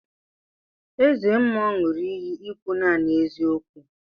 Eze mmuo ṅu iyi ikwu nani eziokwu.